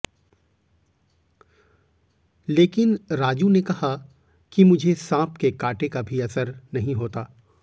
लेकिन राजू ने कहा कि मुझे सांप के काटे का भी असर नहीं होता